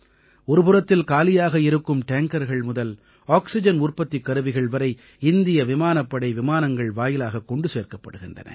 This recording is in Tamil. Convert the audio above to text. ஒருபுறத்தில் காலியாக இருக்கும் டேங்கர்கள் முதல் ஆக்சிஜன் உற்பத்திக் கருவிகள் வரை இந்திய விமானப் படை விமானங்கள் வாயிலாகக் கொண்டு சேர்க்கப்படுகின்றன